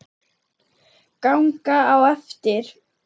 Ganga á eftir.